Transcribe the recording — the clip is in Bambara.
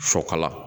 Sɔ kala